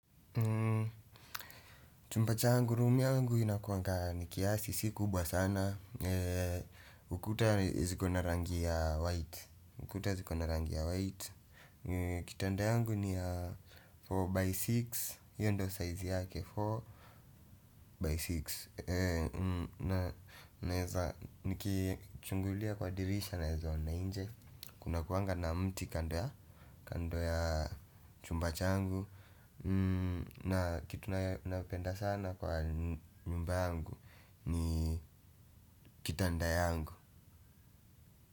Chumba changu rumu yangu inakuanga nikiasi si kubwa sana ukuta ziko na rangi ya white. Kitanda yangu ni ya 4x6 hiyo ndio size yake 4x6. Naeza nikichungulia kwa dirisha naezaona nje. Kuna kuanga na mti kando ya chumba changu na kitu napenda sana kwa nyumba yangu ni kitanda yangu.